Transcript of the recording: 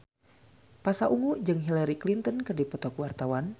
Pasha Ungu jeung Hillary Clinton keur dipoto ku wartawan